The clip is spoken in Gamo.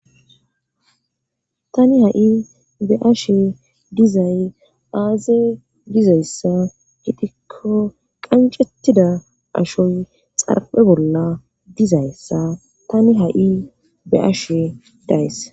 Tani ha'i be ashe dizay aaze gizayssa itikko qancettida ashoy xarphe bolla dizayssa tani ha'i be ashe days